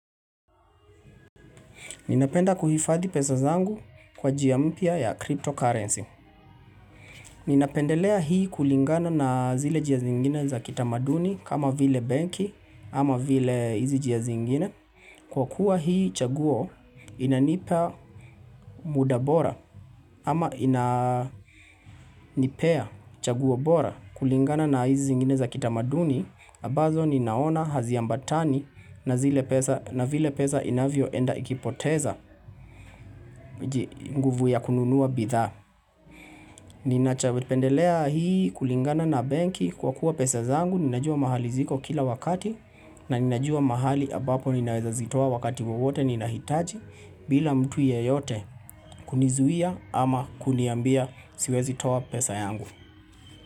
Ninapenda kuhifadhi pesa zangu kwa njia mpya ya cryptocurrency. Ninapendelea hii kulingana na zile njia zingine za kitamaduni kama vile benki ama vile hizi njia zingine. Kwa kuwa hii chaguo inanipa muda bora ama inanipea chaguo bora kulingana na hizi zingine za kitamaduni. Ambazo ninaona hazi ambatani na vile pesa inavyo enda ikipoteza nguvu ya kununua bidhaa Ninachopendelea hii kulingana na benki kwa kuwa pesa zangu Ninajua mahali ziko kila wakati na ninajua mahali ambapo ninaweza zitoa wakati wawote ninahitaji bila mtu yeyote kunizuia ama kuniambia siwezi toa pesa yangu.